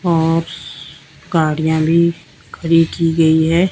और गाड़ियां भी खड़ी की गई है।